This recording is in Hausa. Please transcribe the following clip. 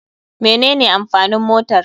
Mene ne amfanin motar.